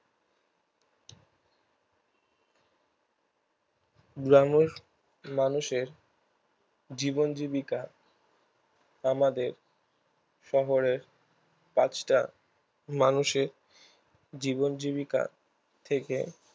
গ্রামের মানুষের জীবন জীবিকা আমাদের শহরের পাঁচটা মানুষের জীবন জীবিকার থেকে